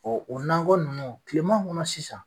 o nakɔ ninnu kilema kɔnɔ sisan